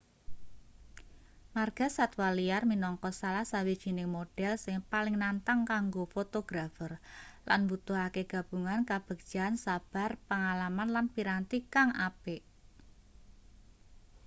margasatwa liar minangka salah sawijining modhel sing paling nantang kanggo fotografer lan mbutuhake gabungan kabegjan sabar pangalaman lan piranti kang apik